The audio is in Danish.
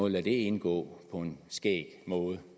lade det indgå på en eller skæg måde